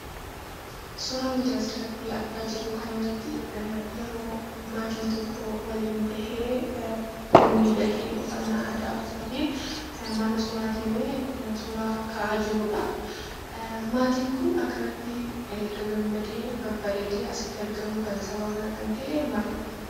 Suuraan as irratti argamu kun yeroo maatiin waliin ta'ee miidhagee mana suuraa deemee suuraa ka'aa jiruu dha. Maatiin kun haala kanaan miidhagee; gagamadee haala kanaan taa'uu isaaf sababni maalii dha?